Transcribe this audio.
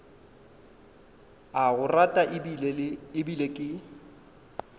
a go rata ebile ke